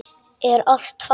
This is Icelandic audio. Er allt fast?